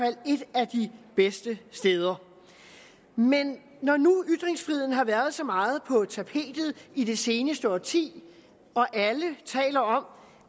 af de bedste steder men når nu ytringsfriheden har været så meget på tapetet i det seneste årti og alle taler om